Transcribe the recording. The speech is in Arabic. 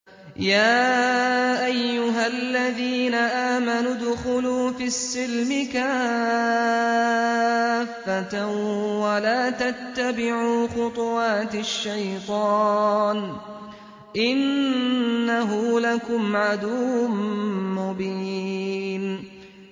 يَا أَيُّهَا الَّذِينَ آمَنُوا ادْخُلُوا فِي السِّلْمِ كَافَّةً وَلَا تَتَّبِعُوا خُطُوَاتِ الشَّيْطَانِ ۚ إِنَّهُ لَكُمْ عَدُوٌّ مُّبِينٌ